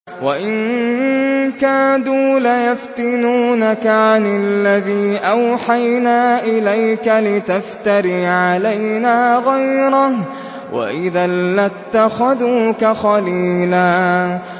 وَإِن كَادُوا لَيَفْتِنُونَكَ عَنِ الَّذِي أَوْحَيْنَا إِلَيْكَ لِتَفْتَرِيَ عَلَيْنَا غَيْرَهُ ۖ وَإِذًا لَّاتَّخَذُوكَ خَلِيلًا